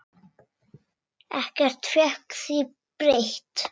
Ekkert fékk því breytt.